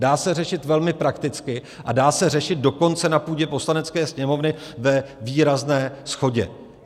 Dá se řešit velmi prakticky a dá se řešit dokonce na půdě Poslanecké sněmovny ve výrazné shodě.